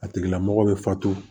A tigila mɔgɔ bɛ fato